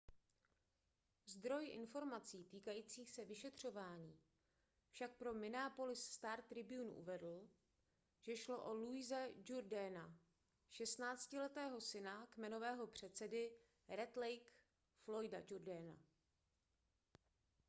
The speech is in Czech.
zdroj informací týkajících se vyšetřování však pro minneapolis star-tribune uvedl že šlo o louise jourdaina šestnáctiletého syna kmenového předsedy red lake floyda jourdaina